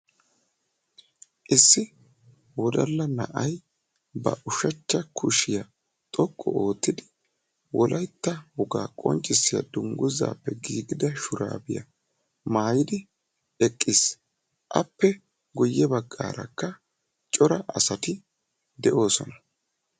issi wodalla na'ay ba ushachcha kushiya xoqqu oottidi wolaytta wogaa qonccissiya dunguzappe giigida shuraabiya maaayidi eqqis, appe guyye baggaarakka cora asati de'oosona.